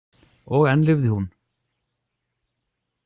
Og enn lifði hún.